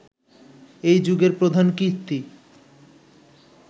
এই যুগের প্রধান কীর্তি